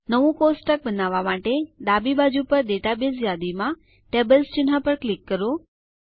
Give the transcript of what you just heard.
નવું કોષ્ટક બનાવવા માટે ડાબી બાજુ પર ડેટાબેઝ યાદીમાં ટેબલ્સ ચિહ્ન પર ક્લિક કરો